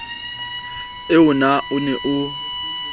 eo na o ne o